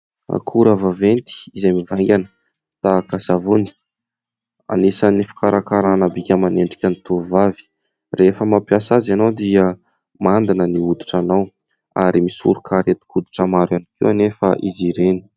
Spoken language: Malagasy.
Akora vaventy izay mivaingana tahaka ny savony anisan'ny fikarakarana bika aman'endriky ny tovovavy rehefa mampiasa azy ianao dia mandina ny hoditranao ary misoroka arentin-koditra maro ihany koa anefa izy ireny.